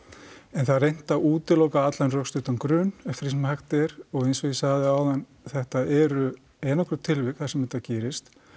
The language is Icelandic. en það er reynt að útiloka allan rökstuddan grun eftir því sem hægt er og eins og ég sagði áðan þetta eru einangruð tilvik þar sem þetta gerist